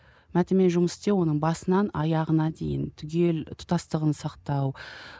мәтінмен жұмыс істеу оның басынан аяғына дейін түгел тұтастығын сақтау